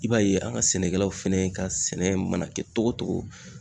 I b'a ye an ga sɛnɛkɛlaw fɛnɛ ka sɛnɛ mana kɛ togo togo